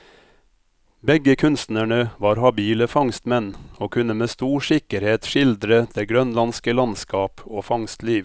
Begge kunstnerne var habile fangstmenn, og kunne med stor sikkerhet skildre det grønlandske landskap og fangstliv.